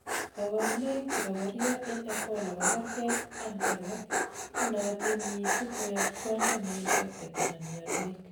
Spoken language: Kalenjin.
kaborunoik chebokoria en Ebola kokergei an alak, chenootin missing koyob tiondo neinfected anan mionwek